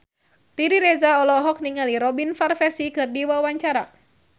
Riri Reza olohok ningali Robin Van Persie keur diwawancara